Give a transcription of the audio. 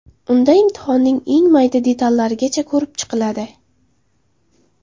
Unda imtihonning eng mayda detallarigacha ko‘rib chiqiladi.